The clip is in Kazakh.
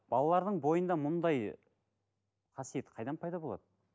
балалардың бойында мұндай қасиет қайдан пайда болады